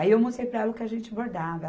Aí, eu mostrei para ela o que a gente bordava.